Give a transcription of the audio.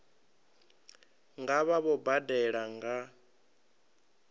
nga vha vho badela nga